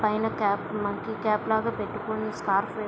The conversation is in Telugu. పైన క్యాప్ మంకీ క్యాప్ లాగా పెట్టుకొని స్కార్ఫ్ --